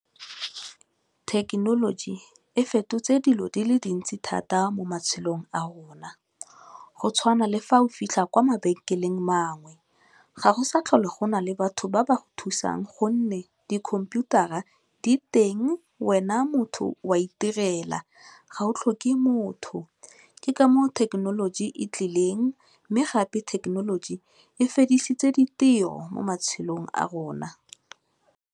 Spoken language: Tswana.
Thekenoloji e fetotse dilo di le dintsi thata mo matshelong a rona, go tshwana le fa o fitlha kwa mabenkeleng a mangwe, ga go sa tlhole gona le batho ba ba thusang gonne dikhomputara di teng, wena motho wa itirela ga o tlhoke motho, ke ka moo thekenoloji e tlileng mme gape thekenoloji e fedisitse ditiro mo matshelong a rona.